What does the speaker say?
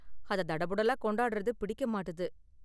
அத தடபுடலா கொண்டாடுறது பிடிக்க மாட்டுது.